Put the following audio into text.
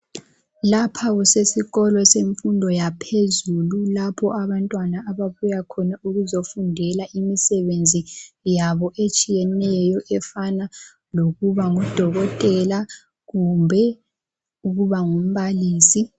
Lapha kusesikolo semfundo yaphezulu lapho abantwana ababuya khona ukuzofundela imisebenzi yabo etshiyeneyo efana lokuba ngudokotela kumbe ukuba ngumbalisi.